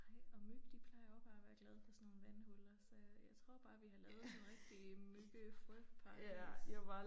Nej og myg de plejer også bare at være glade for sådan nogle vandhuller så jeg tror bare vi har lavet sådan et rigtigt mygge frø paradis